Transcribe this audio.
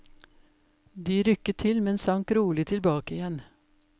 De rykket til, men sank rolig tilbake igjen.